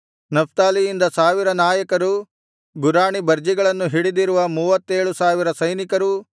ನಫ್ತಾಲಿಯರಿಂದ ಸಾವಿರ ನಾಯಕರೂ ಗುರಾಣಿಬರ್ಜಿಗಳನ್ನು ಹಿಡಿದಿರುವ ಮೂವತ್ತೇಳು ಸಾವಿರ ಸೈನಿಕರೂ